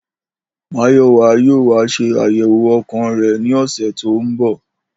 Màyò̩wá yóò wá s̩e àyè̩wò o̩kàn rè̩ ní ò̩sè̩ tó ń bò̩